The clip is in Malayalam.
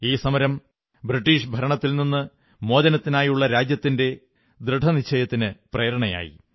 ഈ സമരം ബ്രിട്ടീഷ് ഭരണത്തിൽ നിന്നു മോചനത്തിനായുള്ള രാജ്യത്തിന്റെ ദൃഢനിശ്ചയത്തിനു പ്രേരണയായി